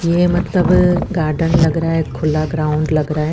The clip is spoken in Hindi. ये मतलब अ गाड़न लग रहा है खुला ग्राउंड लग रहा है।